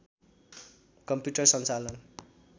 commuter सञ्चालन